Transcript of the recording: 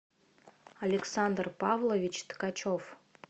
александр павлович ткачев